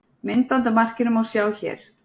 Myndband af markinu má sjá hér